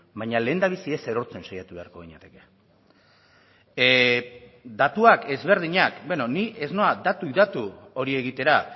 baina lehendabizi ez erortzen saiatu beharko ginateke datuak ezberdinak bueno ni ez noa datuz datu hori egitera